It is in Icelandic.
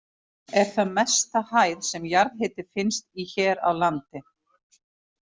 Er það mesta hæð sem jarðhiti finnst í hér á landi.